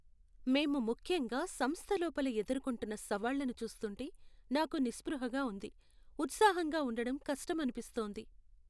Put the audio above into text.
మేము ముఖ్యంగా సంస్థ లోపల ఎదుర్కొంటున్నసవాళ్ళను చూస్తుంటే నాకు నిస్పృహగా ఉంది, ఉత్సాహంగా ఉండడం కష్టమనిపిస్తోంది.